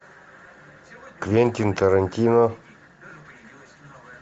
квентин тарантино